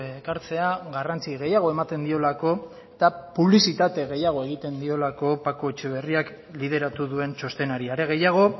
ekartzea garrantzi gehiago ematen diolako eta publizitate gehiago egiten diolako paco etxeberriak bideratu duen txostenari are gehiago